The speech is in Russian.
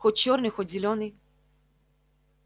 хоть чёрный хоть зелёный